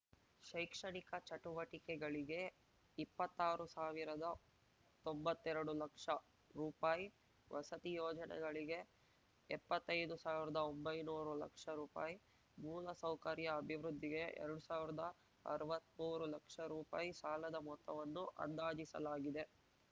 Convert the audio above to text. ಶೈಕ್ಷಣಿಕ ಚಟುವಟಿಕೆಗಳಿಗೆ ಇಪ್ಪತ್ತಾರು ಸಾವಿರದ ತೊಂಬತ್ತೆರಡು ಲಕ್ಷ ರುಪಾಯಿ ವಸತಿ ಯೋಜನೆಗಳಿಗೆ ಎಪ್ಪತ್ತೈದು ಸಾವಿರ್ದಾ ಒಂಬೈನೂರು ಲಕ್ಷ ರುಪಾಯಿ ಮೂಲಸೌಕರ್ಯ ಅಭಿವೃದ್ಧಿಗೆ ಎರಡು ಸಾವಿರ್ದಾ ಅರ್ವತ್ಮೂರು ಲಕ್ಷ ರುಪಾಯಿ ಸಾಲದ ಮೊತ್ತವನ್ನು ಅಂದಾಜಿಸಲಾಗಿದೆ